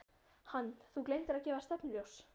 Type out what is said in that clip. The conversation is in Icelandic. Hann: Þú gleymdir að gefa stefnuljós.